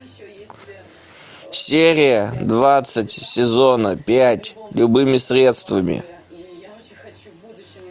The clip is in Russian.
серия двадцать сезона пять любыми средствами